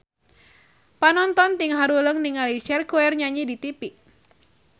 Panonton ting haruleng ningali Cher keur nyanyi di tipi